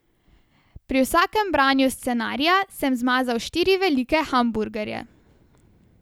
Pri vsakem branju scenarija sem zmazal štiri velike hamburgerje.